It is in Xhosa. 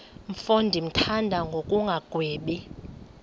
mfo ndimthanda ngokungagwebi